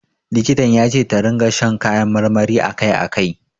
Likitan ya ce ta ringa shan kayan marmari a kai a kai.